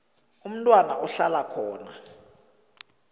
umntwana ahlala khona